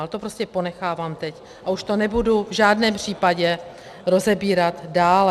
Ale to prostě ponechávám teď, a už to nebudu v žádném případě rozebírat dále.